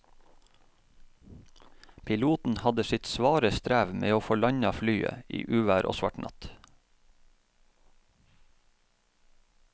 Piloten hadde sitt svare strev med å få landet flyet i uvær og svart natt.